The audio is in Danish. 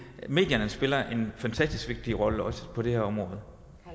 medierne spiller en fantastisk vigtig rolle også på det her område